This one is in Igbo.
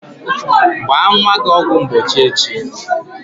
Gbaa nwa gị ọgwụ mgbochi echi!